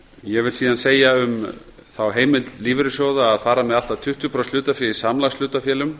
ég vil síðan segja með heimild lífeyrissjóða að að fara með allt að tuttugu prósent hlutafé í samlagshlutafélögum